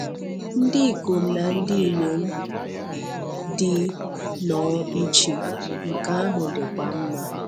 Ndị ikom na ndị inyom dị nnọọ iche, nke ahụ dịkwa mma!